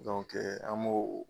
an b'o.